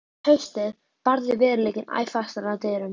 Um haustið barði veruleikinn æ fastar að dyrum.